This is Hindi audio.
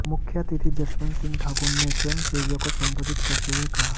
मुख्यातिथि जसवंत सिंह ठाकुर ने स्वयंसेवियों को संबोधित करते हुए कहा